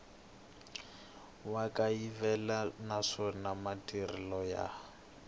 wa kayivela naswona matirhiselo ya